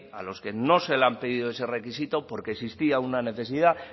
a los que no se les ha pedido ese requisito porque existía una necesidad